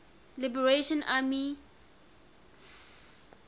liberation army spla